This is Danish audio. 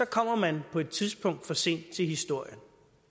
kommer man på et tidspunkt for sent til historien